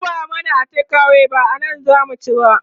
ki zuba mana a take away ba anan zamu ci ba